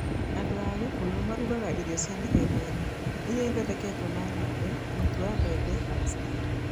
Andũ a Kikuyu marugaga irio cia mĩthemba ĩna, iria ithondeketwo na ng'ombe, mũtu wa mbembe, na macani.